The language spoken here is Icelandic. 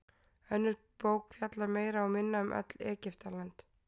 Önnur bók fjallar meira og minna öll um Egyptaland.